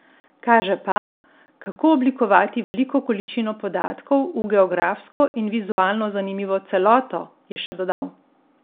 Kaže pa, kako oblikovati veliko količino podatkov v geografsko in vizualno zanimivo celoto, je še dodal.